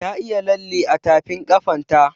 Ta yi lalle a tafin ƙafan ta